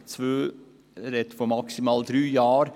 In Ziffer 2 ist die Rede von maximal drei Jahren.